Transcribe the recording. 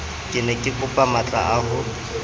ke ne kekopa matlaa ho